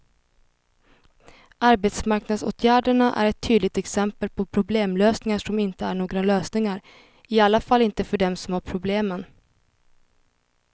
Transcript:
Arbetsmarknadsåtgärderna är ett tydligt exempel på problemlösningar som inte är några lösningar, i alla fall inte för dem som har problemen.